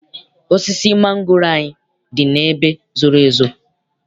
Osisi mangoro anyị dị n'ebe zoro ezo.